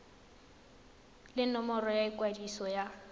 le nomoro ya ikwadiso ya